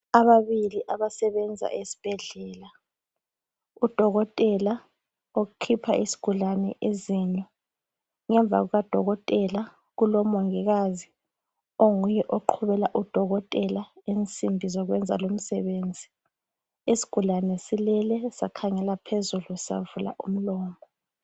Abamabili abasebenza esibhedlela. Udokotela okhipha isigulane izinyo. Ngemva kukadokotela kulamongokazi onguye oqhubela udokotela insimbi zokweza lumsebenzi. lsigulane silele sakhangela phezulu savula umlomo.